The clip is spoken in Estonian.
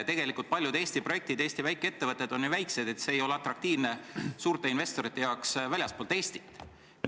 Tegelikult paljud Eesti projektid, Eesti väikeettevõtted on ju väikesed, need ei ole väljaspool Eestit asuvate suurte investorite jaoks atraktiivsed.